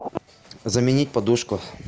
заменить подушку